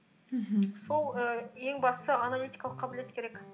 мхм сол і ең бастысы аналитикалық қабілет керек